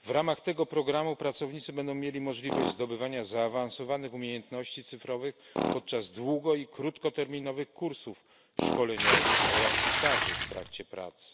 W ramach tego programu pracownicy będą mieli możliwość zdobywania zaawansowanych umiejętności cyfrowych podczas długo i krótkoterminowych kursów szkoleniowych oraz staży w trakcie pracy.